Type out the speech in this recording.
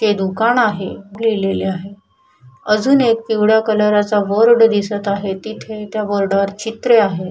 ते दुकान आहे लिहिलेले आहे अजून एक पिवळ कलरा चा बोर्ड दिसत आहे तिथ त्या बोर्डा वर चित्र आहे.